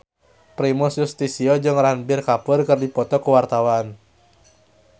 Primus Yustisio jeung Ranbir Kapoor keur dipoto ku wartawan